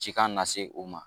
Cikan na se o ma